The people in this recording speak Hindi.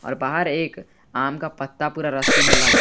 बाहर एक आम का पत्ता पूरा रस्सी में लगा--